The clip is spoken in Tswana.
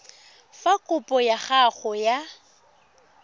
fa kopo ya gago ya